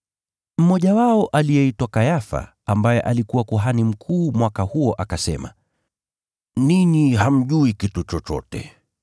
Mmoja wao aliyeitwa Kayafa, ambaye alikuwa kuhani mkuu mwaka huo, akasema, “Ninyi hamjui kitu chochote!